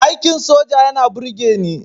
Aikin soja yana burgeni